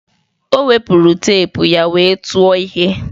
O wepụrụ teepu ya wee tụọ ihe.